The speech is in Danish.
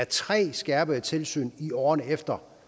tre skærpede tilsyn i årene efter